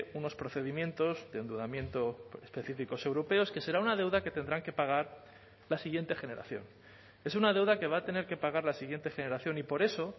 unos procedimientos de endeudamiento específicos europeos que será una deuda que tendrán que pagar la siguiente generación es una deuda que va a tener que pagar la siguiente generación y por eso